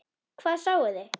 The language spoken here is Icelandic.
Hvað sáuði?